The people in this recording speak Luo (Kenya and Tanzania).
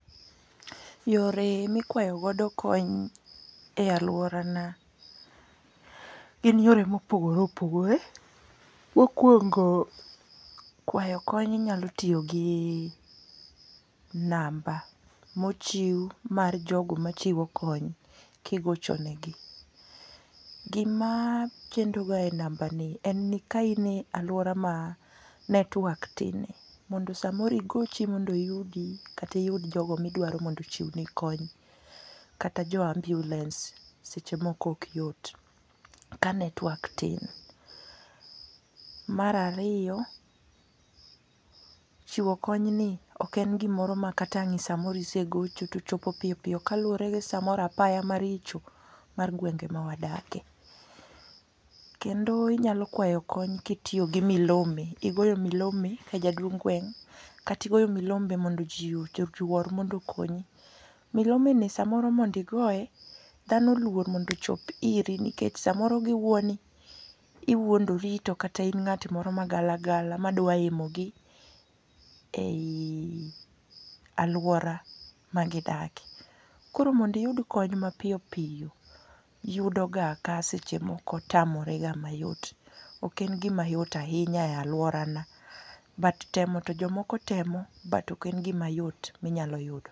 Yore mikwayo godo kony e aluorana gin yore mopogore opogore mokuongo kwayo kony nyalo tiyo gi namba mochiw mar jogo machiwo kony kigocho negi. Gima chendoga e nambani en ni ka in e aluora ma network tin, mondo samoro igochi mondo oyudi kata iyud jogo midwaro mondo ochiwni kony kata jo ambulance seche moko ok yot ka network tin. Mar ariyo, chiwo kony ni ok en gimoro ma kata ang' isegocho to chopom piyo piyo kaluwore gi samoro apaya maricho mar gwenge mawadakie. Kendo inyalo kwayo kony ka itiyo gi milome, igoyo milome ka jaduong' gweng' kata igoyo milome mondo ji oyuor mondo okonyi. Milomeni samoro mondo igoye, dhano oluor mondo ochop iri nikech samoro giwuo ni iwuondori to kata in ng'at moro magala gala madwa himo gi ei aluora magidakie. Koro mondo iyud kony mapiyo piyo yudo ga ka seche moko tamorega mayot. Ok en gima yot ahinya e aluorana but temo to jok mokom temo but ok en gimayot ahinya ma inyalo yudo.